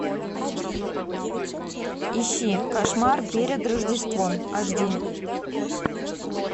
ищи кошмар перед рождеством аш ди